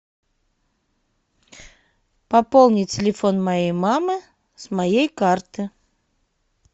пополнить телефон моей мамы с моей карты